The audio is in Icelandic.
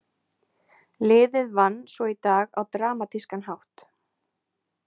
Liðið vann svo í dag á dramatískan hátt.